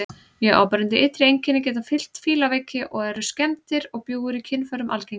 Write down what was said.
Mjög áberandi ytri einkenni geta fylgt fílaveiki og eru skemmdir og bjúgur í kynfærum algengar.